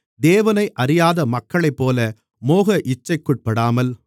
தேவனை அறியாத மக்களைப்போல மோக இச்சைக்குட்படாமல்